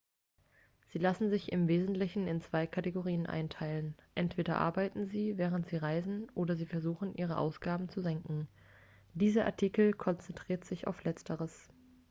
sie lassen sich im wesentlichen in zwei kategorien einteilen entweder arbeiten sie während sie reisen oder sie versuchen ihre ausgaben zu senken dieser artikel konzentriert sich auf letzteres